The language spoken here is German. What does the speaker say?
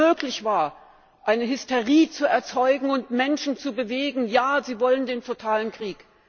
Wie es wieder möglich war, eine Hysterie zu erzeugen und Menschen zu bewegen Ja, sie wollen den totalen Krieg.